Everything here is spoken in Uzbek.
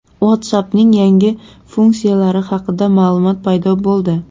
WhatsApp’ning yangi funksiyalari haqida ma’lumot paydo bo‘ldi.